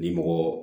Ni mɔgɔ